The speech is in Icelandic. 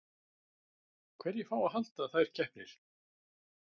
Hverjir fá að halda þær keppnir?